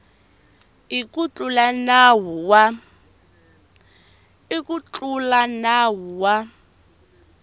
i ku tlula nawu wa